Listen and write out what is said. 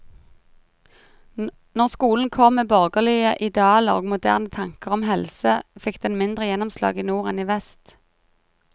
Når skolen kom med borgerlige idealer og moderne tanker om helse, fikk den mindre gjennomslag i nord enn i vest.